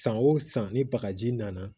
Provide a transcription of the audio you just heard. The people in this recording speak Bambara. San o san ni bagaji nana